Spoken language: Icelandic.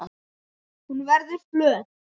Hún verður flöt.